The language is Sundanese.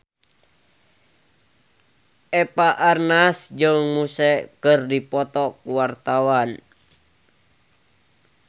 Eva Arnaz jeung Muse keur dipoto ku wartawan